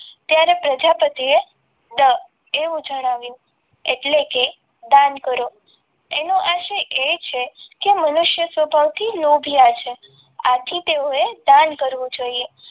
ત્યારે પ્રજાપતિએ એવું જણાવ્યું એટલે કે દાન કરો એનો આશા એ છે કે મનુષ્ય સ્વભાવથી લોભિયા છે આથી તેઓએ દાન કરવું જોઈએ.